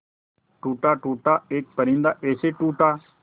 टूटा टूटा एक परिंदा ऐसे टूटा